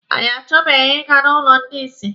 Anyị achọbeghị Ị ga n'ụlọ ndị isi.